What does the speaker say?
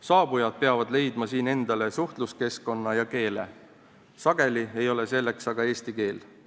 Saabujad peavad leidma siin endale suhtluskeskkonna ja keele, sageli ei ole selleks aga eesti keel.